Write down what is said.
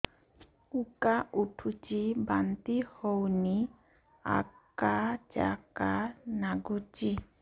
ଉକା ଉଠୁଚି ବାନ୍ତି ହଉନି ଆକାଚାକା ନାଗୁଚି